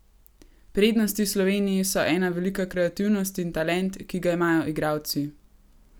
Prednosti Slovenije so ena velika kreativnost in talent, ki ga imajo igralci.